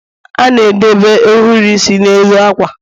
a na-edobe ohiri isi n'elu ákwà